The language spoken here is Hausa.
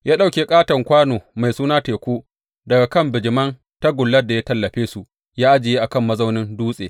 Ya ɗauke ƙaton kwano mai suna Teku daga kan bijiman tagullar da ya tallafe su ya ajiye a kan mazaunin dutse.